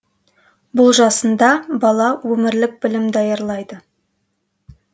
бұл жасында бала өмірлік білім даярлайды